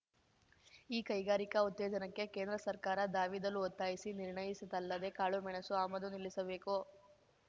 ಈ ಕೈಗಾರಿಕ ಉತ್ತೇಜನಕ್ಕೆ ಕೇಂದ್ರ ಸರ್ಕಾರ ಧಾವಿದಲು ಒತ್ತಾಯಿಸಿ ನಿರ್ಣಯಿಸಿದಲ್ಲದೆ ಕಾಳುಮೆಣಸು ಆಮದು ನಿಲ್ಲಿಸಬೇಕು